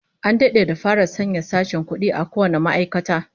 An dade da fara sanya sashen kudi a kowane ma'aikata